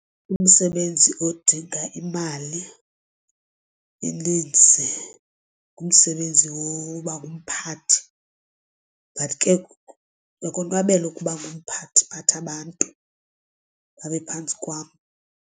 Umsebenzi odinga imali eninzi ngumsebenzi woba ngumphathi but ke uyakonwabela ukuba ngumphathi uphathe abantu babe phantsi kwam.